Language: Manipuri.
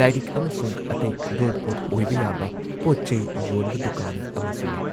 ꯂꯥꯏꯔꯤꯛ ꯑꯃꯁꯨꯡ ꯑꯇꯩ ꯈꯨꯗꯣꯜꯄꯣꯠ ꯑꯣꯏꯕ ꯌꯥꯕ ꯄꯣꯠ-ꯆꯩ ꯌꯣꯟꯕ ꯗꯨꯀꯥꯟ ꯑꯃꯁꯨ ꯂꯩ ꯫